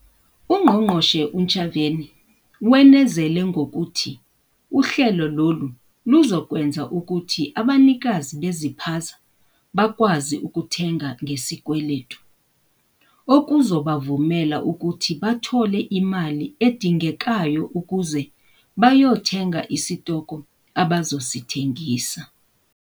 UNgqongqoshe uNtshavheni wenezele ngokuthi uhlelo lolu luzokwenza ukuthi abanikazi beziphaza bakwazi ukuthenga ngesikweletu, okuzobavumela ukuthi bathole imali edingekayo ukuze bayothenga isitoko abazosithengisa.